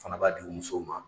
fana b'a di u musow ma